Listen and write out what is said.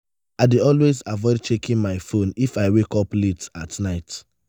i dey always avoid checking my phone if i wake up late at night.